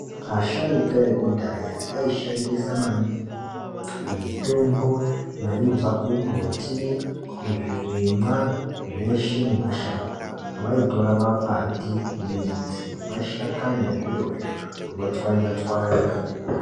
Asharuka ekudhaya aishandisa maningi mitombo yaibva kumumbuti, kuzvirimwa zveshe nemashango. Vaitora makwati, midzi nemashakani ezvirozvo votswanya tswanya